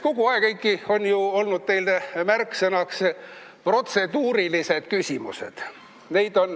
Kogu aeg, Eiki, on teil olnud nagu märksõnaks fraas "protseduurilised küsimused".